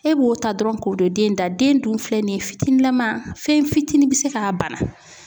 E b'o ta dɔrɔn k'o don den da den dun filɛ nin ye fitininlama fɛn fitini bɛ se k'a bana.